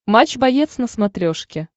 матч боец на смотрешке